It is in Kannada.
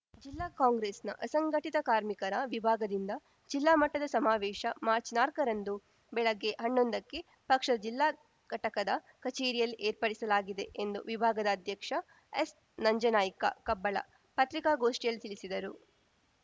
ಜಿಲ್ಲಾ ಕಾಂಗ್ರೆಸ್‌ನ ಅಸಂಘಟಿತ ಕಾರ್ಮಿಕರ ವಿಭಾಗದಿಂದ ಜಿಲ್ಲಾ ಮಟ್ಟದ ಸಮಾವೇಶ ಮಾರ್ಚ್ನಾಲ್ಕ ರಂದು ಬೆಳಗ್ಗೆ ಹನ್ನೊಂದಕ್ಕೆ ಪಕ್ಷದ ಜಿಲ್ಲಾ ಘಟಕದ ಕಚೇರಿಯಲ್ಲಿ ಏರ್ಪಡಿಸಲಾಗಿದೆ ಎಂದು ವಿಭಾಗದ ಅಧ್ಯಕ್ಷ ಎಸ್‌ನಂಜನಾಯ್ಕ ಕಬ್ಬಳ ಪತ್ರಿಕಾಗೋಷ್ಠಿಯಲ್ಲಿ ತಿಳಿಸಿದರು